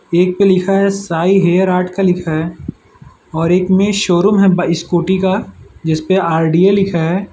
एक पे लिखा है साईं हेयर आर्ट का लिखा है और एक में शोरूम है स्कूटी का जिसमें आर_डी_ए लिखा है।